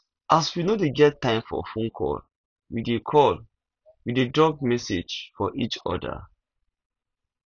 as we no dey get time for fone call we dey call we dey drop message for each other